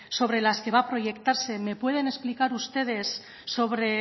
sobre las que va a proyectarse me pueden explicar ustedes